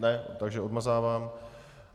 Ne, takže odmazávám.